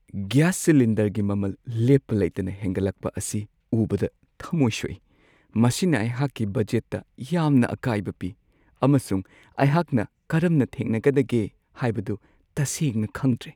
Gas ꯁꯤꯂꯤꯟꯗꯔꯒꯤ ꯃꯃꯜ ꯂꯦꯞꯄ ꯂꯩꯇꯅ ꯍꯦꯟꯒꯠꯂꯛꯄ ꯑꯁꯤ ꯎꯕꯗ ꯊꯝꯃꯣꯏ ꯁꯣꯛꯏ ꯫ ꯃꯁꯤꯅ ꯑꯩꯍꯥꯛꯀꯤ ꯕꯖꯦꯠꯇ ꯌꯥꯝꯅ ꯑꯀꯥꯏꯕ ꯄꯤ, ꯑꯃꯁꯨꯡ ꯑꯩꯍꯥꯛꯅ ꯀꯔꯝꯅ ꯊꯦꯡꯅꯒꯗꯒꯦ ꯍꯥꯏꯕꯗꯨ ꯇꯁꯦꯡꯅ ꯈꯪꯗ꯭ꯔꯦ ꯫